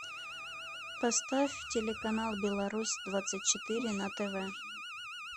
поставь телеканал беларусь двадцать четыре на тв